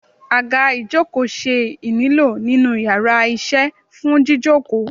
aga ìjokò se ínílo ninu íyarà iṣẹ fún jíjòkó